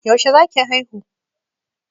Yaushe za ki haihu?